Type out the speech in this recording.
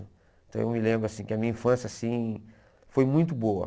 Então eu me lembro assim que a minha infância assim foi muito boa.